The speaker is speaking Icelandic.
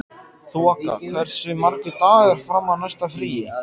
Þoka, hversu margir dagar fram að næsta fríi?